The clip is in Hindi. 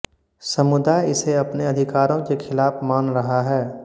समुदाय इसे अपने अधिकारों के खिलाफ मान रहा है